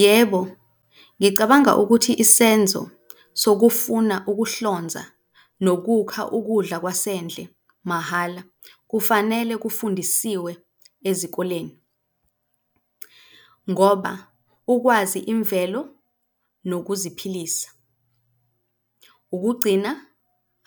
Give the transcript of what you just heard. Yebo, ngicabanga ukuthi isenzo sokufuna ukuhlonza nokukha ukudla kwasendle mahhala, kufanele kufundisiwe ezikoleni ngoba ukwazi imvelo nokuziphilisa, ukugcina